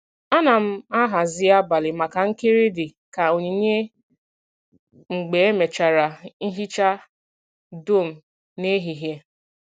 A na m a hazi abalị maka nkiri dị ka onyinye mgbe emechara nhicha dum n’ehihie.